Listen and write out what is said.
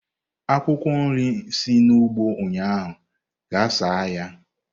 Akwụkwọ nri si n'ugbo ụnyaahụ gaa saa ya!